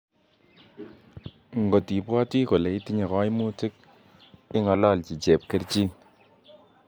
Ngot ibwati kole itiche kaimutik ingalalchi chepkerchiin